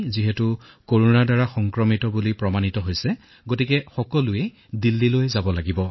আমাক ছয়োজনকে ধনাত্মক বুলি কলে আৰু দিল্লীলৈ লৈ যাবলৈ বিচাৰিলে